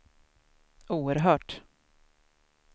oerhört